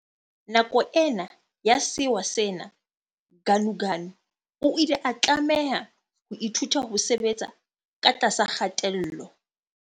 Nako ena ya sewa sena Ganuganu o ile a tlameha ho ithuta ho sebetsa ka tlasa kgatello.